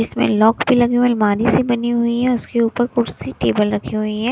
इसमें लॉक भी लगी हुई है अलमारी सी बनी लगी हुई है उसके ऊपर कुर्सी टेबल रखी हुई है।